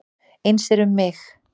Eins er um mig.